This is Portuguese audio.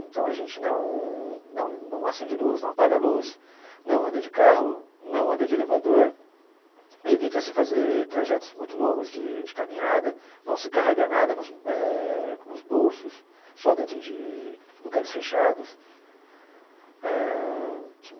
Então a gente não não não acende luz, não apaga luz, não anda de carro, não anda de elevador, evita-se fazer trajetos muito longos de de caminhada, não se carrega nada nos eh nos bolsos, só dentro de lugares fechados ãh.